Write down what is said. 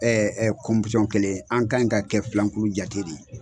kelen ye an kan ka kɛ filankulu jate de ye.